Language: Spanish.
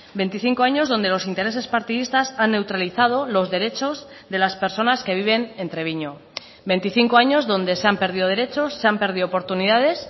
veinticinco años donde los intereses partidistas han neutralizado los derechos de las personas que viven en treviño veinticinco años donde se han perdido derechos se han perdido oportunidades